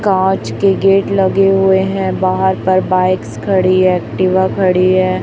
कांच के गेट लगे हुए हैं बाहर पर बाइक्स खड़ी एक्टिवा खड़ी है।